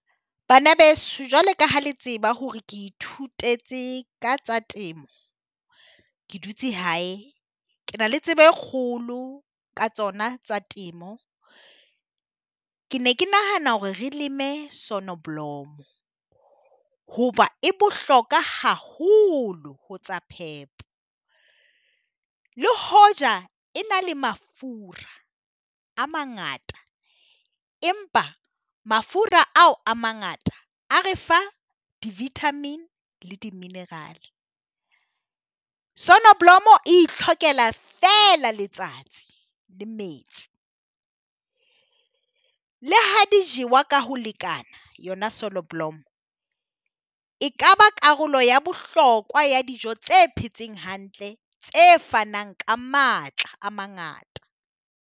Bana beso jwalo ka ha le tseba hore ke ithutetse ka tsa temo ke dutse hae, ke na le tsebo e kgolo ka tsona tsa temo. Ke ne ke nahana hore re leme Sonneblom hoba e bohloka haholo ho tsa phepo, le hoja e na le mafura a mangata empa mafura ao a mangata a re fa di vitamin le di mineral. Sonneblom e itlhokela feela letsatsi le metsi, le ha di jewa ka ho lekana yona Sonneblom e ka ba karolo ya bohlokwa ya dijo tse phetseng hantle tse fanang ka matla a mangata.